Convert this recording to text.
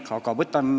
See on veel lahtine.